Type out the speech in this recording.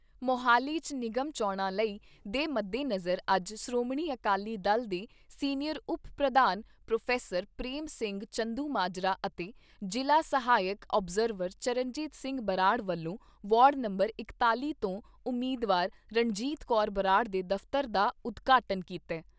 ਮੁਹਾਲੀ 'ਚ ਨਿਗਮ ਚੋਣਾਂ ਲਈ ਦੇ ਮੱਦੇਨਜ਼ਰ ਅੱਜ ਸ਼੍ਰੋਮਣੀ ਅਕਾਲੀ ਦਲ ਦੇ ਸੀਨੀਅਰ ਉਪ ਪ੍ਰਧਾਨ ਪ੍ਰੋਫੈਸਰ ਪ੍ਰੇਮ ਸਿੰਘ ਚੰਦੂਮਾਜਰਾ ਅਤੇ ਜ਼ਿਲ੍ਹਾ ਸਹਾਇਕ ਅਬਜਰਵਰ ਚਰਨਜੀਤ ਸਿੰਘ ਬਰਾੜ ਵੱਲੋਂ ਵਾੜ ਨੰਬਰ ਇਕਤਾਲ਼ੀ ਤੋਂ ਉਮੀਦਵਾਰ ਰਣਜੀਤ ਕੌਰ ਬਰਾੜ ਦੇ ਦਫ਼ਤਰ ਦਾ ਉਦਘਾਟਨ ਕੀਤਾ ।